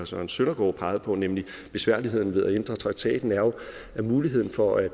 søren søndergaard pegede på nemlig besværligheden ved at ændre traktaten at muligheden for at